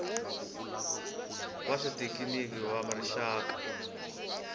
va swa xithekiniki va rixaka